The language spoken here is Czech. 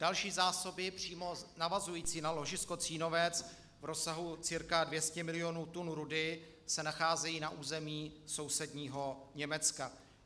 Další zásoby přímo navazující na ložisko Cínovec v rozsahu cca 200 milionů tun rudy se nacházejí na území sousedního Německa.